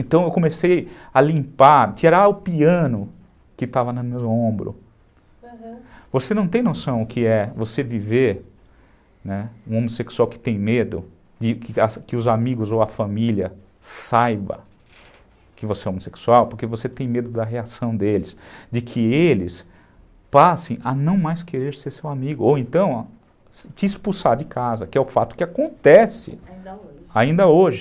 Então eu comecei a limpar tirar o piano que estava no meu ombro, aham, você não tem noção o que é você viver, né, um homossexual que tem medo que os amigos ou a família saiba que você é homossexual, porque você tem medo da reação deles de que eles passem a não mais querer ser seu amigo ou então te expulsar de casa que é o fato que acontece ainda hoje